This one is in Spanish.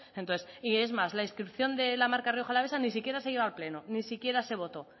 y es más la inscripción de la marca rioja alavesa ni siquiera se llevó a pleno ni siquiera se votó